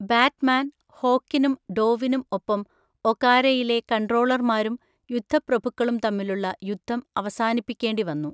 Batman, ഹോക്കിനും ഡോവിനും ഒപ്പം ഒകാരയിലെ കൺട്രോളർമാരും യുദ്ധപ്രഭുക്കളും തമ്മിലുള്ള യുദ്ധം അവസാനിപ്പിക്കേണ്ടി വന്നു.